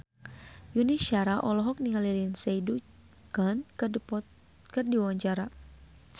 Yuni Shara olohok ningali Lindsay Ducan keur diwawancara